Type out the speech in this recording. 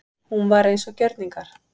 Hún var eins og gjörningar.